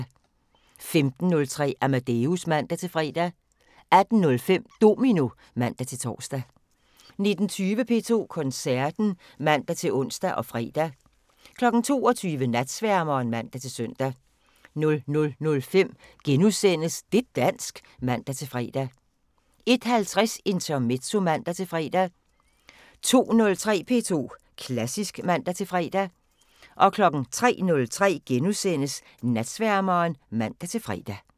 15:03: Amadeus (man-fre) 18:05: Domino (man-tor) 19:20: P2 Koncerten (man-ons og fre) 22:00: Natsværmeren (man-søn) 00:05: Det' dansk *(man-fre) 01:50: Intermezzo (man-fre) 02:03: P2 Klassisk (man-fre) 03:03: Natsværmeren *(man-fre)